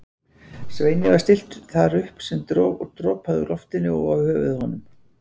Sveini var stillt þar upp sem dropaði úr loftinu og á höfuð honum.